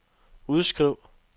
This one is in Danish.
udskriv